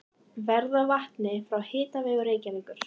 Verð á vatni frá Hitaveitu Reykjavíkur